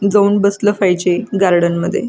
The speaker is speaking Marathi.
जाऊन बसल पाहिजे गार्डन मध्ये.